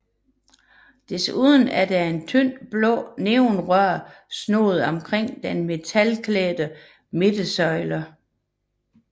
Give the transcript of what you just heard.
Desuden er der et tyndt blåt neonrør snoet omkring den metalbeklædte midtersøjle